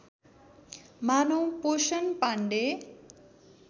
मानौँ पोषण पाण्डे